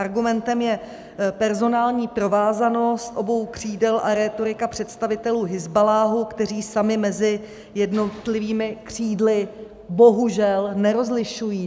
Argumentem je personální provázanost obou křídel a rétorika představitelů Hizballáhu, kteří sami mezi jednotlivými křídly bohužel nerozlišují.